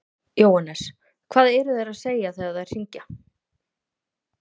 Jóhannes: Hvað eru þær að segja þegar þær hringja?